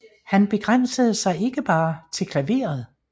Han begrænsede sig ikke bare til klaveret